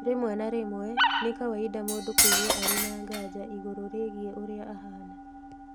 Rĩmwe na rĩmwe, nĩ kawaida mũndũ kũigua arĩ na nganja igũrũ rĩgiĩ ũrĩa ahaana